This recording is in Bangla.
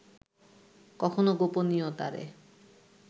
কখনও গোপনীয়তারে